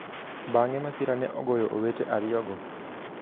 Bang'e masira ne ogoyo owete ariyogo.